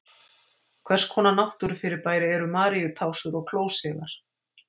Hvers konar náttúrufyrirbæri eru Maríutásur og klósigar?